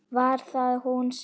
Var það hún sem.?